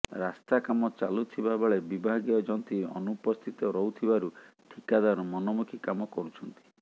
ରାସ୍ତା କାମ ଚାଲୁଥିବା ବେଳେ ବିଭାଗୀୟ ଯନ୍ତ୍ରୀ ଅନୁପସ୍ଥିତ ରହୁଥିବାରୁ ଠିକାଦାର ମନମୁଖୀ କାମ କରୁଛନ୍ତି